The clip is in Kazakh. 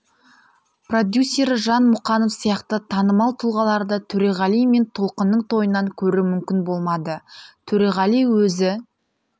продюсері жан мұқанов сияқты танымал тұлғаларды төреғали мен толқынның тойынан көру мүмкін болмады төреғали өзі